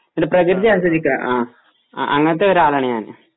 നമ്മടെ പ്രകൃതി ആസ്വദിക്കാൻ ആ അങ്ങനത്തെ ഒരാളാണ് ഞാൻ